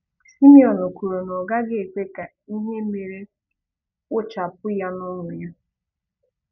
Simone kwuru na ọ gaghị ekwe ka ihe mere kpochapụ ya n’ọṅụ ya.